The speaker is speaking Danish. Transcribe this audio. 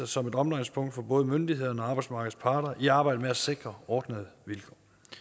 som et omdrejningspunkt for både myndighederne og arbejdsmarkedets parter i arbejdet med at sikre ordnede vilkår